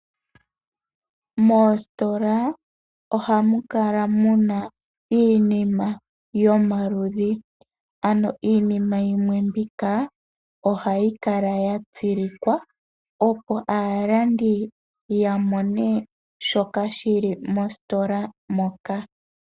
Moositola ohamu kala mu na iinima yomaludhi, ano iinima yimwe mbika ohayi kala ya tsilikwa opo aalandi ya mone shoka shi li mositola moka.